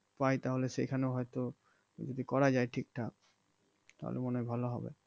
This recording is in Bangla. পায় তাহলে সেখানে হয়তো যদি করা যায় ঠিক ঠাক তাহলে মনে হয় ভালো হবে